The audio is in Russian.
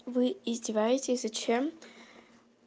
вы издеваетесь зачем